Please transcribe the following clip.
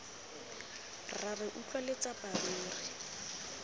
rra re utlwa letsapa ruri